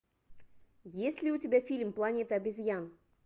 есть ли у тебя фильм планета обезьян